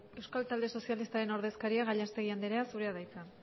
euskal talde sozialistaren ordezkaria gallastegui anderea zurea da hitza